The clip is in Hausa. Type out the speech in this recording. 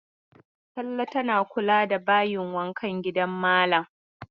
Talle tana kula da bayin wankan gidan malam.